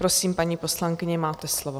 Prosím, paní poslankyně, máte slovo.